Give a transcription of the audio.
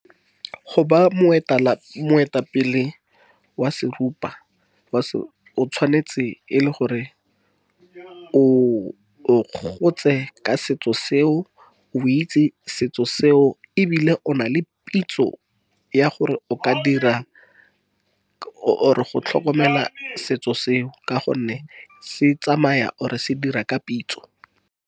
Go ba ya moetapele wa se seruba, o tshwanetse e le gore o gotse ka setso seo. O itse setso seo, ebile o na le pitso ya gore o ka dira, or-e go tlhokomela setso seo. Ka gonne se tsamaya or-e se dira ka pitso.